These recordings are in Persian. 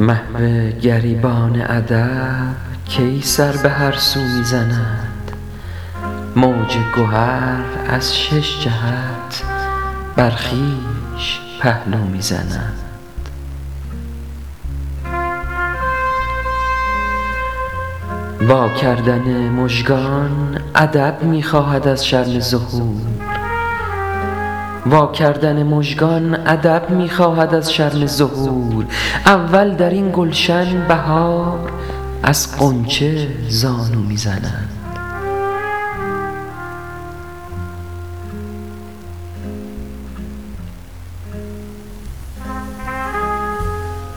محوگریبان ادب کی سر به هر سو می زند موج گهر از ششجهت بر خویش پهلو می زند واکردن مژگان ادب می خواهد از شرم ظهور اول دراین گلشن بهار از غنچه زانو می زند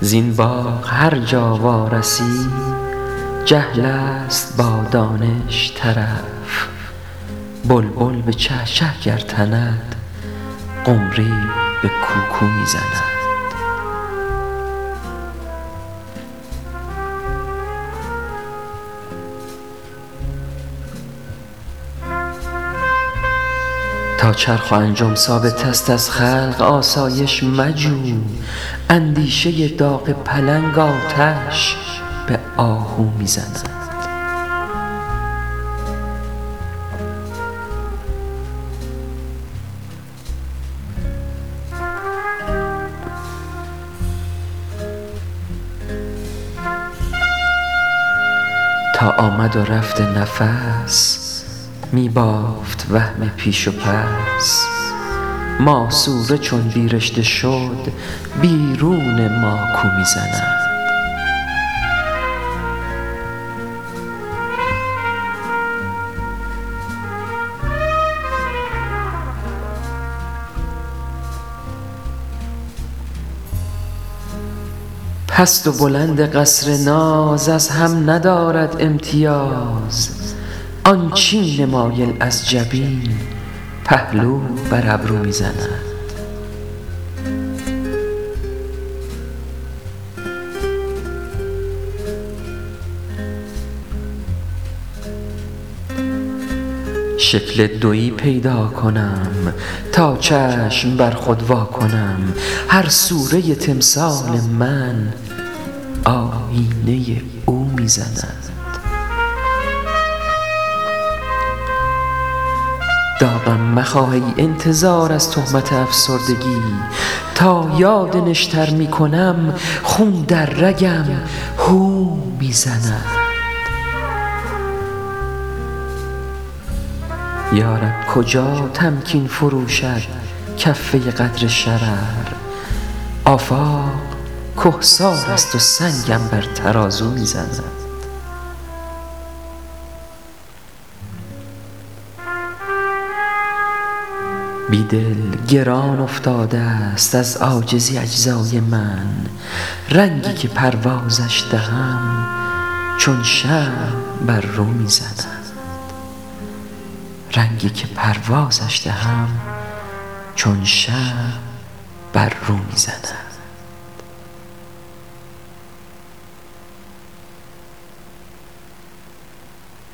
زبن باغ هرجا وارسی جهل است با دانش طرف بلبل به چهچه گرتند قمری به کوکو می زند تا چرخ و انجم ثابت است از خلق آسایش مجو اندیشه داغ پلنگ آتش به آهو می زند تا آمد و رفت نفس می بافت وهم پیش و پس ماسوره چون بی رشته شد بیرون ماکو می زند پست و بلند قصر ناز از هم ندارد امتیاز آن چین مایل از جبین پهلو بر ابرو می زند شکل دویی پیدا کنم تا چشم بر خود واکنم هر سور ه تمثال من آیینه او می زند داغم مخواه ای انتظار از تهمت افسردگی تا یاد نشتر می کنم خون در رگم هو می زند یا رب کجا تمکین فرو شد کفه قدر شرر آفاق کهسارست و سنگم بر ترازو می زند بیدل گران افتاده است از عاجزی اجزای من رنگی که پروازن دهم چون شمع بر رو می زند